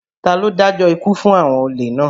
Ta ló dájọ́ ikú fún àwọn olè náà?